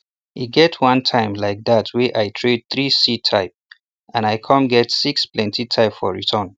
e get one time like that wey i trade three seed type and i com get six plenti type for return